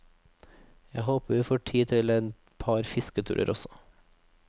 Jeg håper vi får tid til et par fisketurer også.